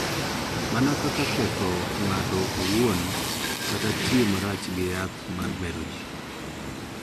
Mana kaka ketho ng�ato owuon kata tiyo marach gi yath ma mero ji.